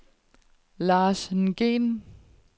Lars Nguyen